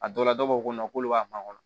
A dɔw la dɔw b'a fɔ k'olu b'a kɔnɔ